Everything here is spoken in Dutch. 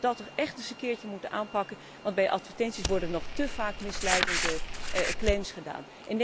Ik denk dat we dat toch echt eens een keer moeten aanpakken, want bij advertenties worden nog te vaak misleidende claims gedaan.